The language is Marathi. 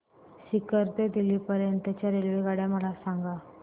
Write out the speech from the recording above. सीकर ते दिल्ली पर्यंत च्या रेल्वेगाड्या मला सांगा